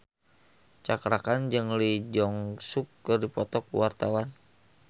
Cakra Khan jeung Lee Jeong Suk keur dipoto ku wartawan